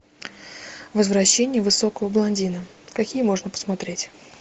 возвращение высокого блондина какие можно посмотреть